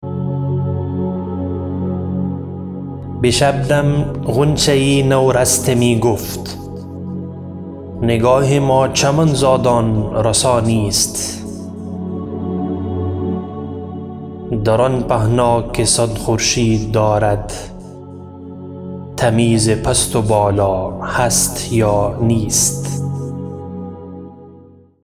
به شبنم غنچه نورسته می گفت نگاه ما چمن زادان رسا نیست در آن پهنا که صد خورشید دارد تمیز پست و بالا هست یا نیست